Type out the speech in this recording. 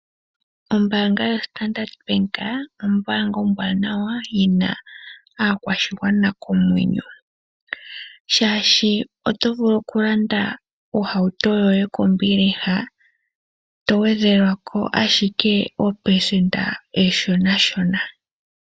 Ombaanga yaStandard Bank ombaanga ombwanawa yina aakwashigwana komwenyo, shashi oto vulu okulanda ohauto yoye kombiliha togwedhelwa ko ashike opelesenda oonshonanshona.